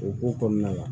O ko kɔnɔna na